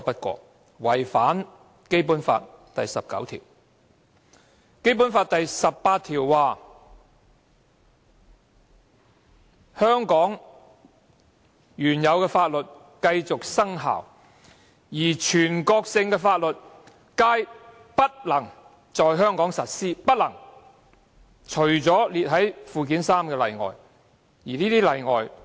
《基本法》第十八條訂明，香港原有法律繼續生效，而全國性法律皆不能在香港實施，但列於附件三者除外。